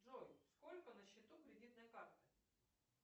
джой сколько на счету кредитной карты